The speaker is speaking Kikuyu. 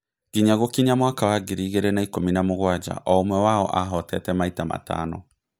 Ngiya gũkinya mwaka wa ngiri igĩrĩ na ikũmi na mugwanja, o-ũmwe wao ahoteete maita matano.